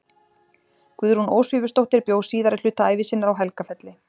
Guðrún Ósvífursdóttir bjó síðari hluta ævi sinnar á Helgafelli.